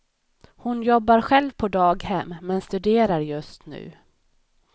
Hon jobbar själv på daghem men studerar just nu.